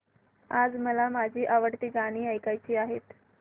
आज मला माझी आवडती गाणी ऐकायची आहेत